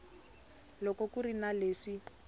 loko ku ri na leswi